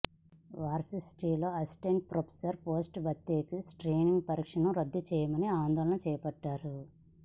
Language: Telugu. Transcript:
వర్సిటీల్లో అసిస్టెంట్ ప్రొఫెసర్ పోస్టుల భర్తీకి స్క్రీనింగ్ పరీక్షను రద్దుచేయాలని ఆందోళన చేపట్టారు